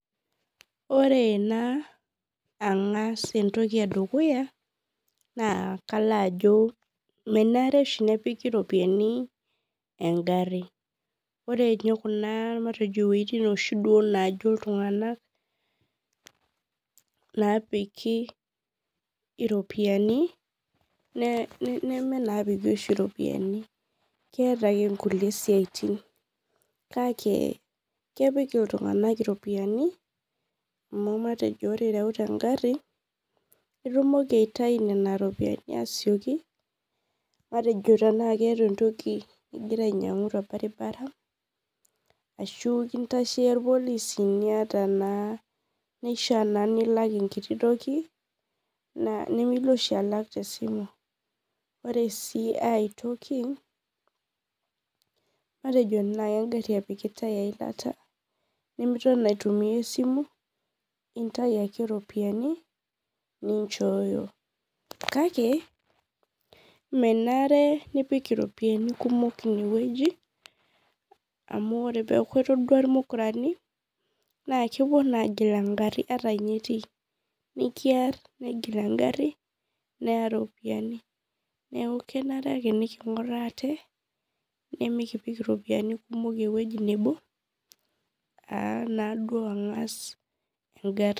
Ore na angas entoki edukuya na kang'as ajo menare oshi nepiki ropiyani eng'ari ore nye ewoi najo ltung'anak kepiki ropiyani na keeta oshi nkulie siatin kake kepik ltung'anak iropiyiani amu matejo ore ireuta eng'ari na isieki aitau iropiyiani matejo eniata entoki ninyang'u torbaribara ashu kintasheyieu irpolisi nishaa na pilak enkiti toki nimilo oshi alak tesimu ore aitoki matejo engari nai epikitae esimu intau ake ropiyiani ninchooyo kake menare nipik iropiyiani kumok inewueji amu ore peaku etaduo irmukurani na kepuo na agil eng'ari nikiar neya ropiyani neaku kenare ake niking'uraa ate nimikip ropiyani ewoi nebo a a naduo ang'as eng'ari.